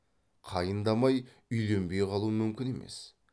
қайындамай үйленбей қалу мүмкін емес